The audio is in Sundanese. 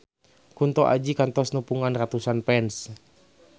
Kunto Aji kantos nepungan ratusan fans